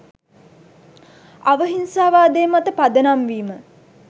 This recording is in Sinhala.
අවිහිංසාවාදය මත පදනම් වීම